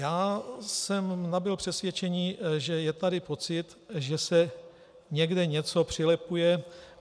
Já jsem nabyl přesvědčení, že je tady pocit, že se někde něco přilepuje.